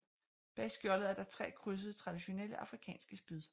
Bag skjoldet er der tre krydsede traditionelle afrikanske spyd